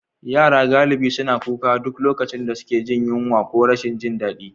Yara galibi suna kuka a duk lokacin da suke jin yunwa ko rashin jin daɗi.